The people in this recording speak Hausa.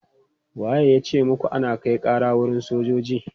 Wa ya ce muku ana kai ƙara wurin sojoji?